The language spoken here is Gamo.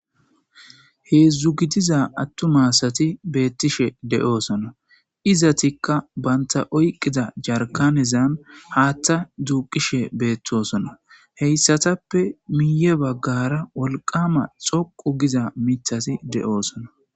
heedzdzu gidiza attumasati beettishe de7oosona izatikka banta oyqqida jarkanezan haatta duuqishe beettosona heyssatappe miiye baggara wolqama xoqu giza mithasi de7oosona